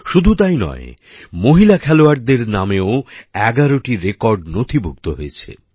শুধু তাই নয় মহিলা খেলোয়াড়দের নামেও ১১টি রেকর্ড নথিভুক্ত হয়েছে